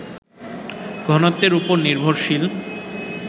ঘনত্বের ওপর নির্ভরশীল